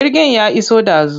Jirgin ya iso ɗazu.